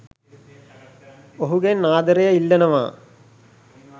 ඔහුගෙන් ආදරය ඉල්ලනවා